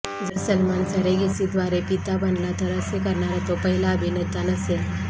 जर सलमान सेरेगसीद्वारे पिता बनला तर असे करणारा तो पहिला अभिनेता नसेल